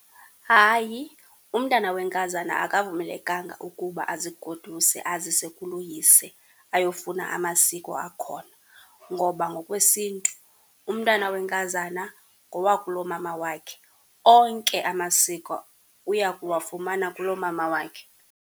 Hayi, umntana wenkazana akavumelekanga ukuba azigoduse azise kuloyise ayofuna amasiko akhona. Ngoba ngokwesintu umntana wenkazana ngowakulomama wakhe onke amasiko uya kuwafumana kulomama wakhe.